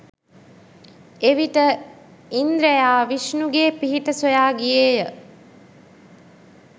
එවිට ඉන්ද්‍රයා විෂ්ණුගේ පිහිට සොයා ගියේය.